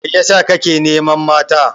Mai ya sa ka ke neman mata?